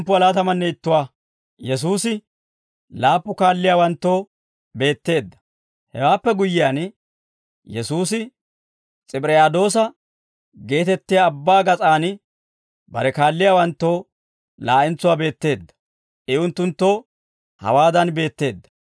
Hewaappe guyyiyaan, Yesuusi S'ibiriyaadoosa geetettiyaa abbaa gas'aan bare kaalliyaawanttoo laa'entsuwaa beetteedda. I unttunttoo hawaadan beetteedda.